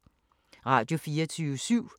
Radio24syv